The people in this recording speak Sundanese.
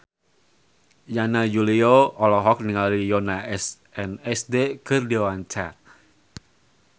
Yana Julio olohok ningali Yoona SNSD keur diwawancara